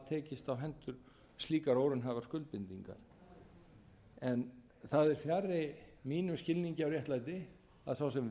tekist á hendur slíkar óraunhæfar skuldbindingar það er fjarri mínum skilningi á réttlæti að sá sem veitti